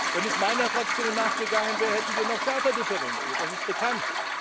Wenn es nach meiner Fraktion gegangen wäre, hätten wir noch schärfer differenziert, das ist bekannt.